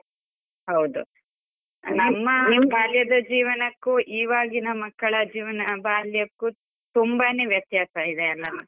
ಹೌದು, ಬಾಲ್ಯದ ಜೀವನಕ್ಕೂ ಇವಾಗಿನ ಮಕ್ಕಳ ಜೀವನ ಬಾಲ್ಯಕ್ಕೂ ತುಂಬಾನೇ ವ್ಯತ್ಯಾಸ ಇದೆ ಅಲ.